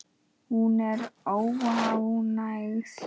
Hún er óánægð.